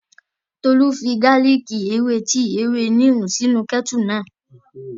Tolú fi gálìkì, ewé tíì, ewé níìmù sínu kẹ́ẹ́tù náà